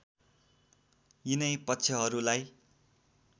यिनै पक्षहरूलाई